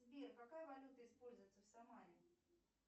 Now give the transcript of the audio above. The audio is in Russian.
сбер какая валюта используется в самаре